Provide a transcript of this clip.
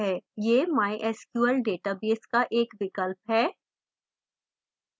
यह mysql database का एक विकल्प है